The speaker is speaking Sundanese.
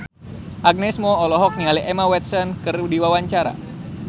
Agnes Mo olohok ningali Emma Watson keur diwawancara